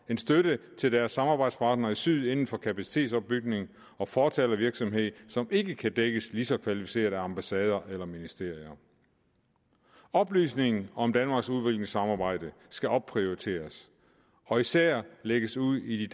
støtte til deres samarbejdspartnere i syd inden for kapacitetsopbygning og fortalervirksomhed som ikke kan dækkes lige så kvalificeret af ambassader eller ministerier oplysningen om danmarks udviklingssamarbejde skal opprioriteres og især lægges ud i de